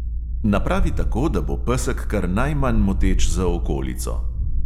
Napravi tako, da bo pesek kar najmanj moteč za okolico.